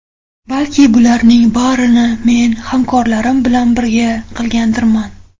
Balki bularning barini men hamkorlarim bilan birga qilgandirman?